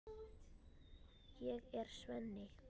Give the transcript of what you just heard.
Ég er Svenni.